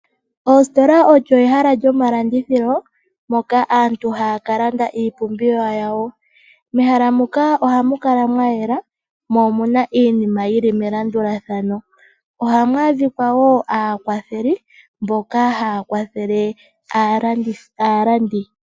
Ositola odho ehala lyomalandithilo moka aantu haya kalanda iipumbiwa yawo. Mehala muka ohamu kala mwayela mo omuna iinima yili melandulathano. Ohamu adhika woo aakwatheli mboka haya kwathele aalandi.